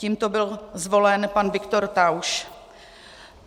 Tímto byl zvolen pan Viktor Tauš.